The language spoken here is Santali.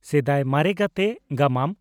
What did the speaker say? "ᱥᱮᱫᱟᱭ ᱢᱟᱨᱮ ᱜᱟᱛᱮ" (ᱜᱟᱢᱟᱢ)